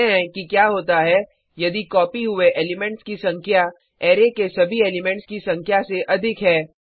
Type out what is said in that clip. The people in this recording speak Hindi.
देखते हैं कि क्या होता है यदि कॉपी हुए एलिमेंट्स की संख्या अरै के सभी एलिमेंट्स की संख्या से अधिक है